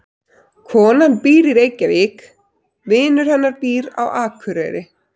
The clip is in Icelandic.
Konan býr í Reykjavík. Vinur hennar býr á Akureyri.